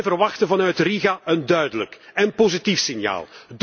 Ze verwachten vanuit Riga een duidelijk en positief signaal.